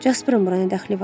Jasperin bura nə dəxli var?